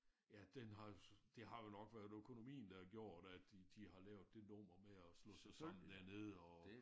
Ja den har det har jo nok været økonomien at der har gjort at de de har lavet det nummer med at slå sig sammen dernede og